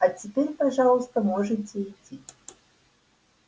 а теперь пожалуйста можете идти